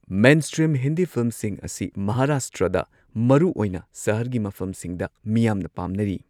Mainstream Hindi ꯐꯤꯜꯝꯁꯤꯡ ꯑꯁꯤ ꯃꯍꯥꯔꯥꯁꯇ꯭ꯔꯗ ꯃꯔꯨꯑꯣꯏꯅ ꯁꯍꯔꯒꯤ ꯃꯐꯝꯁꯤꯡꯗ ꯃꯤꯌꯥꯝꯅ ꯄꯥꯝꯅꯔꯤ꯫